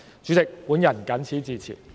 主席，我謹此陳辭。